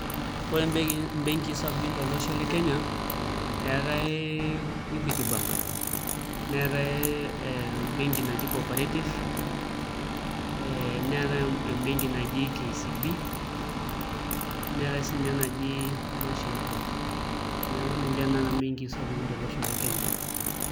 Ore mbenkii sapukin tolosho le Kenya eetai Equity Bank neetai ee embenki naji Coperative ee neetai embenki naji KCB neetai siinye enaji National Bank, neeku ninche naa mbenkii sapukin tolosho le Kenya.